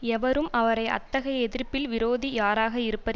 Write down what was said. எவரும் அவரை அத்தகைய எதிர்ப்பில் விரோதி யாராக இருப்பர்